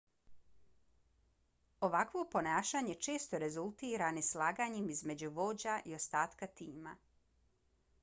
ovakvo ponašanje često rezultira neslaganjem između vođa i ostatka tima